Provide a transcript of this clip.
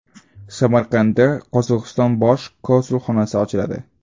Samarqandda Qozog‘iston bosh konsulxonasi ochiladi.